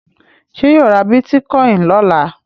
Ṣé yóò ra bítíkọ́ìn lọ́la?